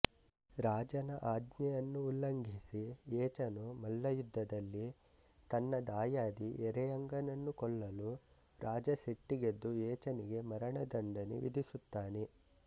ರಾಜನ ಆಜ್ಞೆಯನ್ನುಉಲ್ಲಂಘಿಸಿ ಏಚನು ಮಲ್ಲಯುದ್ಧದಲ್ಲಿ ತನ್ನ ದಾಯಾದಿ ಎರೆಯಂಗನನ್ನು ಕೊಲ್ಲಲು ರಾಜ ಸಿಟ್ಟಿಗೆದ್ದು ಏಚನಿಗೆ ಮರಣದಂಡನೆ ವಿಧಿಸುತ್ತಾನೆ